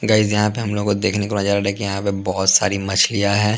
Guys यहाँ पे हम लोग को देखने को नजर आ रहा है कि यहाँ पे बहुत सारी मछलियाँ हैं ।